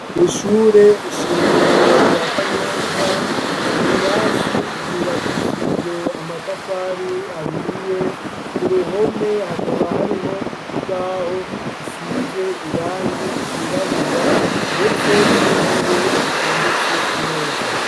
ku ishure shingiro rya kanyosha ibirasi byubakishijwe amatafari ahiye ku ruhome hakaba hariho ikibaho gisize irangi igirabura ndetse n'intebe zitondetse neza.